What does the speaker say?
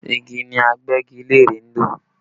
Igi ni Agbẹ́gilére ń lò